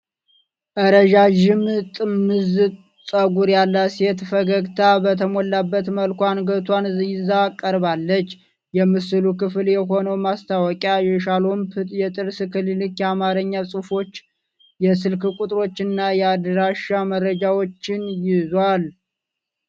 ረዣዥም ጥምዝ ፀጉር ያላት ሴት ፈገግታ በተሞላበት መልኩ አንገቷን ይዛ ቀርባለች። የምስሉ ክፍል የሆነው ማስታወቂያ የሻሎም የጥርስ ክሊኒክ የአማርኛ ጽሑፎች፣ የስልክ ቁጥሮች እና የአድራሻ መረጃዎችን ይዟል።